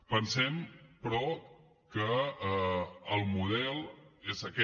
pensem però que el model és aquest